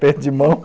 Aperto de mão.